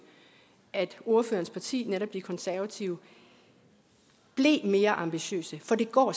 at ordførerens parti netop de konservative blev mere ambitiøse for det går